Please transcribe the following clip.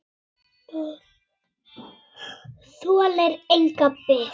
Það þolir enga bið.